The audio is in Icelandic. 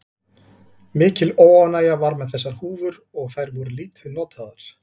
Mikil óánægja var með þessar húfur og þær voru lítið notaðar.